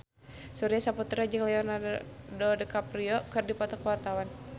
Surya Saputra jeung Leonardo DiCaprio keur dipoto ku wartawan